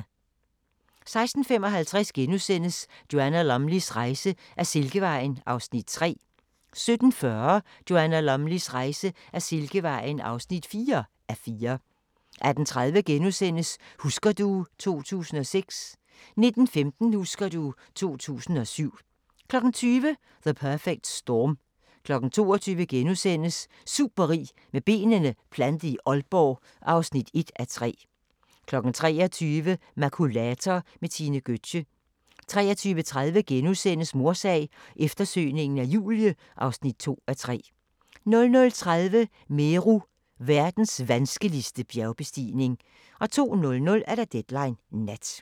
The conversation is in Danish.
16:55: Joanna Lumleys rejse ad Silkevejen (3:4)* 17:40: Joanna Lumleys rejse ad Silkevejen (4:4) 18:30: Husker du ... 2006 * 19:15: Husker du ... 2007 20:00: The Perfect Storm 22:00: Superrig med benene plantet i Aalborg (1:3)* 23:00: Makulator med Tine Gøtzsche 23:30: Mordsag: Eftersøgningen af Julie (2:3)* 00:30: Meru – verdens vanskeligste bjergbestigning 02:00: Deadline Nat